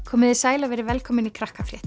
komiði sæl og verið velkomin í